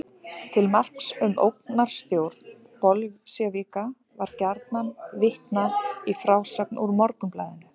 Til marks um ógnarstjórn bolsévíka var gjarnan vitnað í frásögn úr Morgunblaðinu.